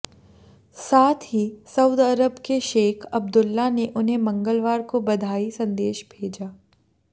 साथ ही सऊद अरब के शेख अब्दुल्ला ने उन्हें मंगलवार को बधाई संदेश भेजा